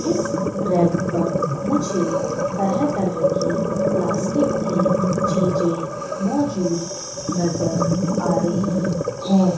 इस रैक पर मुझे तरह तरह की प्लास्टिक की चीजे मौजूद नजर आ रही है।